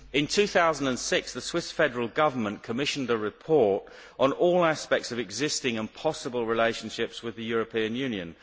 In 2006, the Swiss Federal Government commissioned a report on all aspects of existing and possible relationships with the European Union.